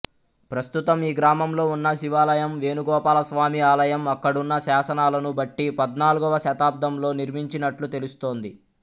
ప్రస్తుతం ఈ గ్రామంలో ఉన్న శివాలయం వేణుగోపాలస్వామి ఆలయం అక్కడున్న శాసనాలను బట్టి పద్నాల్గవ శతాబ్దంలో నిర్మించినట్లు తెలుస్తోంది